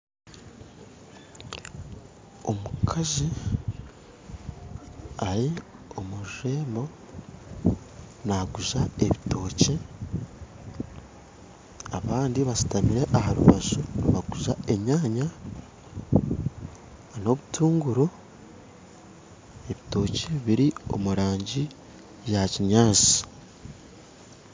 Omukazi ari omu rurembo naaguza ebitookye abandi bashutami aha rubaju nibaguza enyaanya n'obutunguru, ebitookye biri omu rangi ya kinyaatsi